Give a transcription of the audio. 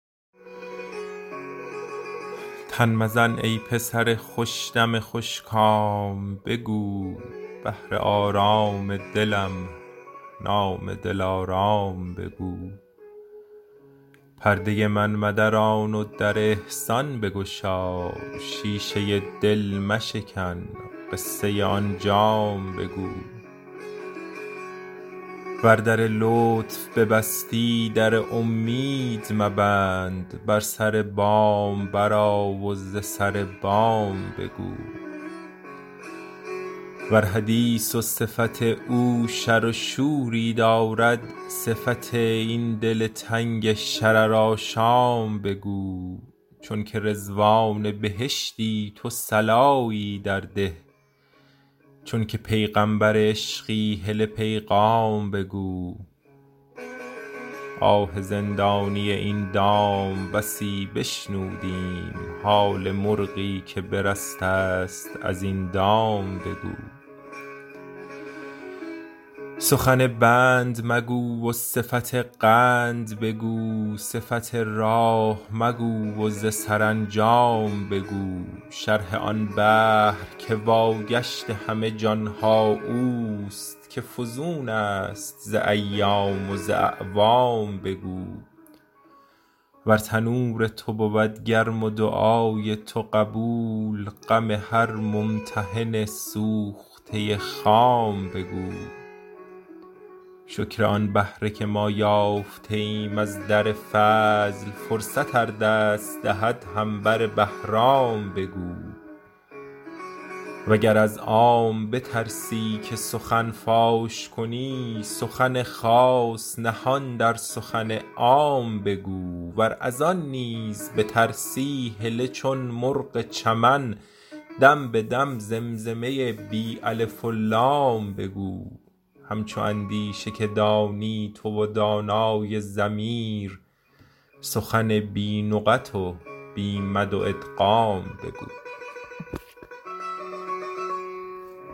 تن مزن ای پسر خوش دم خوش کام بگو بهر آرام دلم نام دلارام بگو پرده من مدران و در احسان بگشا شیشه دل مشکن قصه آن جام بگو ور در لطف ببستی در اومید مبند بر سر بام برآ و ز سر بام بگو ور حدیث و صفت او شر و شوری دارد صفت این دل تنگ شررآشام بگو چونک رضوان بهشتی تو صلایی درده چونک پیغامبر عشقی هله پیغام بگو آه زندانی این دام بسی بشنودیم حال مرغی که برسته ست از این دام بگو سخن بند مگو و صفت قند بگو صفت راه مگو و ز سرانجام بگو شرح آن بحر که واگشت همه جان ها او است که فزون است ز ایام و ز اعوام بگو ور تنور تو بود گرم و دعای تو قبول غم هر ممتحن سوخته خام بگو شکر آن بهره که ما یافته ایم از در فضل فرصت ار دست دهد هم بر بهرام بگو وگر از عام بترسی که سخن فاش کنی سخن خاص نهان در سخن عام بگو ور از آن نیز بترسی هله چون مرغ چمن دم به دم زمزمه بی الف و لام بگو همچو اندیشه که دانی تو و دانای ضمیر سخنی بی نقط و بی مد و ادغام بگو